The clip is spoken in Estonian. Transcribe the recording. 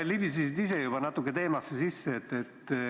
Sa libisesid ise juba natuke teemasse sisse.